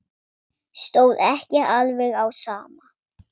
Stóð ekki alveg á sama.